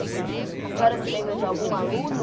A senhora se lembra de algum aluno?